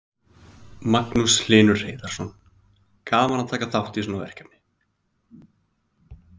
Magnús Hlynur Hreiðarsson: Gaman að taka þátt í svona verkefni?